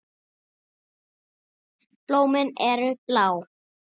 Blómin eru blá.